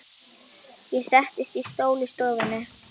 Ég settist í stól í stofunni.